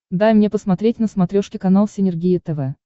дай мне посмотреть на смотрешке канал синергия тв